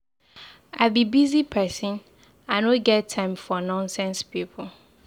I be busy person I no get time for nonsense people